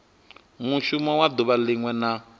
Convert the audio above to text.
mushumo wa duvha linwe na